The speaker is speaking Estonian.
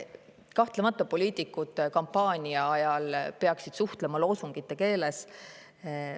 Kahtlemata, kampaania ajal peaksid poliitikud suhtlema loosungite keeles.